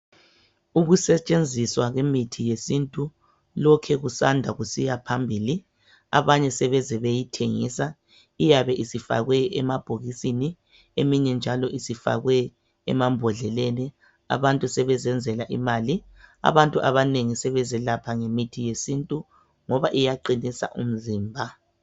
Ukusetshenziswa kwemithi yesintu lokhe kusanda kusiya phambili abanye sebeze beyithengisa iyabe isifakwe emabhokisini eminye njalo isifakwe emambhodleleni abantu sebezenzela imali abantu abanengi sebezelapha ngemithi yesintu ngoba iyaqinisa umzimba.